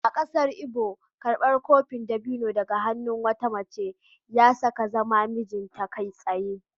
A kasar Igbo, karbar kofin dabino daga hannun wata mace ya sa ka zama mijinta kai tsaye.